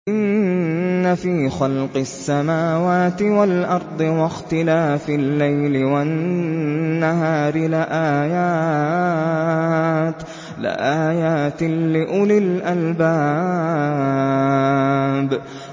إِنَّ فِي خَلْقِ السَّمَاوَاتِ وَالْأَرْضِ وَاخْتِلَافِ اللَّيْلِ وَالنَّهَارِ لَآيَاتٍ لِّأُولِي الْأَلْبَابِ